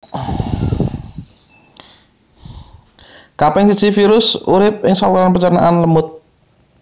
Kaping siji virus urip ing saluran pencernaan lemut